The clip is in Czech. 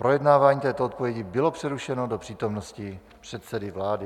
Projednávání této odpovědi bylo přerušeno do přítomnosti předsedy vlády.